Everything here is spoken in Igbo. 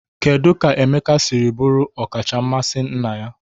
Kedu ka Emeka siri bụrụ ọkacha mmasị nna ya?